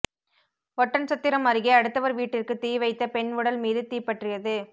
ஒட்டன்சத்திரம் அருகே அடுத்தவர் வீட்டிற்கு தீ வைத்த பெண் உடல் மீது தீப்பற்றியது